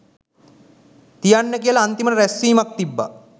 තියන්න කියලා අන්තිමට රැස්වීම තිබ්බා